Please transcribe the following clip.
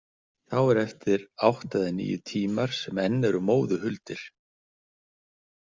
Þá eru eftir átta eða níu tímar sem enn eru móðu huldir.